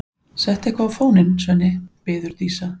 Settu eitthvað á fóninn, Svenni, biður Dísa.